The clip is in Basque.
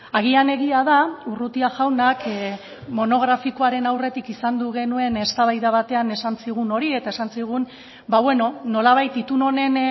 agian egia da urrutia jaunak monografikoaren aurretik izandu genuen eztabaida batean esan zigun hori eta esan zigun nolabait itun honen